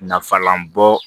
Nafalan bɔ